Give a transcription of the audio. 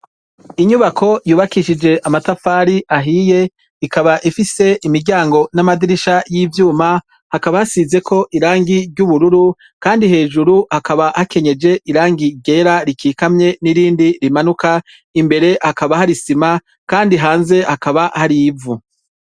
Inyubako y’ubakishije amatafari ahiye ikaba ifise imiryango n’amadirisha y’ivyuma, hakaba hasizeko irangi ry’ubururu kandi hejuru hakaba hakenyeje irangi ryera rikikamye n’irindi rimanuka, imbere hakaba hari isima kandi hanze hakaba hari ivu.